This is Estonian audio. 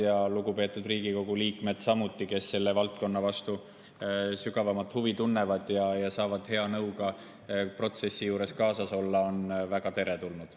Samuti on lugupeetud Riigikogu liikmed, kes selle valdkonna vastu sügavamat huvi tunnevad ja saavad hea nõuga protsessi juures kaasas olla, väga teretulnud.